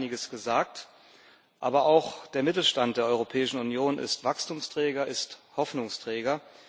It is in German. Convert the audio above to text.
Dazu ist einiges gesagt. Aber auch der Mittelstand der Europäischen Union ist Wachstumsträger, ist Hoffnungsträger.